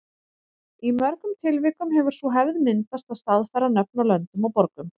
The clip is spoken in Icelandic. Í mörgum tilvikum hefur sú hefð myndast að staðfæra nöfn á löndum og borgum.